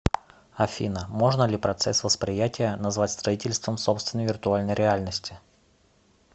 афина можно ли процесс восприятия назвать строительством собственной виртуальной реальности